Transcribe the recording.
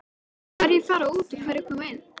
Hverjir fara út og hverjir koma inn?